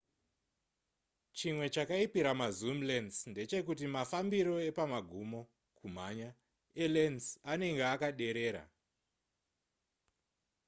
chimwe chakaipira mazoom lense ndechekuti mafambiro apamagumo kumhanya elens anenge akaderera